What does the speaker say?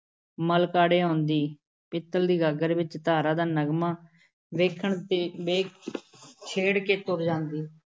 ਮਲਕੜੇ ਆਉਂਦੀ, ਪਿੱਤਲ਼ ਦੀ ਗਾਗਰ ਵਿੱਚ ਧਾਰਾਂ ਦਾ ਨਗਮਾ ਵੇਖਣ ਤੇ ਵੇਖ ਛੇੜ ਕੇ ਤੁਰ ਜਾਂਦੀ ।